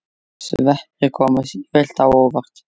Sveppir koma sífellt á óvart!